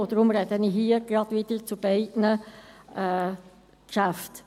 Deshalb spreche ich auch hier wieder zu beiden Geschäften.